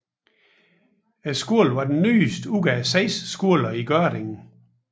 Skolen var den nyeste ud af 6 skoler i Gørding